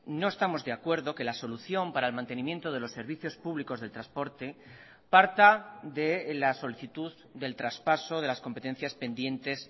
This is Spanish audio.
no estamos de acuerdo que la solución para el mantenimiento de los servicios públicos del transporte parta de la solicitud del traspaso de las competencias pendientes